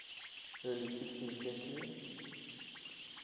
early sixteenth century